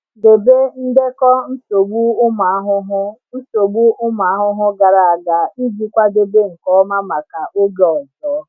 Debe ndekọ nsogbu ụmụ ahụhụ nsogbu ụmụ ahụhụ gara aga iji kwadebe nke ọma maka oge ọzọ.